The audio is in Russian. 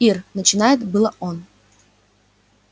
ир начинает было он